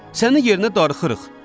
Sənin yerinə darıxırıq.